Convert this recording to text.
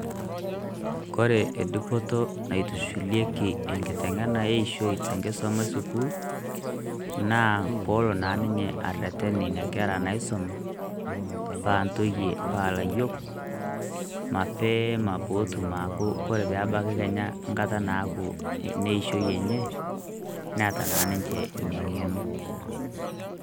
Kore edupoto naitushulieki enkiteng'ena eishoi tenkisuma esukuul, naa polo na ninye arrerren nkera naisuma, pa ntoyie pa layiok, mapeema potum aaku kore pebaki kenya nkata naaku neishoi enye, neeta na ninche nang'eno.